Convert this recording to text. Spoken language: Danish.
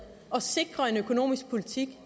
at sikre en økonomisk politik